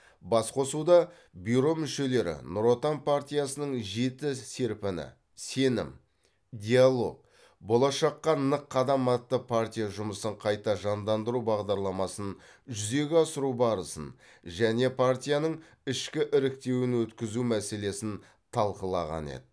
басқосуда бюро мүшелері нұр отан партиясының жеті серпіні сенім диалог болашаққа нық қадам атты партия жұмысын қайта жандандыру бағдарламасын жүзеге асыру барысын және партияның ішкі іріктеуін өткізу мәселесін талқылаған еді